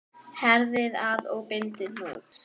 Herðið að og bindið hnút.